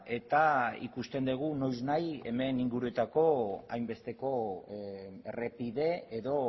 eta ikusten dugu noiz nahi hemen inguruetako hainbesteko errepide edo